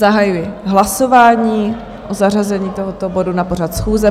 Zahajuji hlasování o zařazení tohoto bodu na pořad schůze.